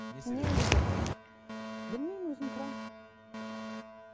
білмеймін өзім тұрамын